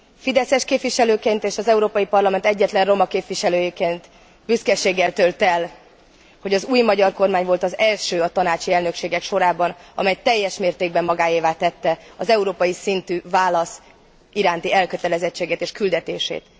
Fideszes képviselőként és az Európai Parlament egyetlen roma képviselőjeként büszkeséggel tölt el, hogy az új magyar kormány volt az első a tanácsi elnökségek sorában, amely teljes mértékben magáévá tette az európai szintű válasz iránti elkötelezettséget és küldetését.